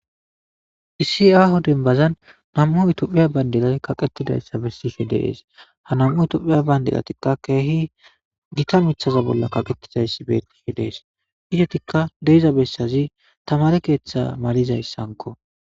Issi aaho denbazan nam'u itophiya bayndelay kaqettidayssa bessishe deees ha nam'u itophiya bayndelatikka keehi gita mithaza bolla kaqettizayssi beetihe dees idatikka deiza bessazi tamare keeththa malizayssanko.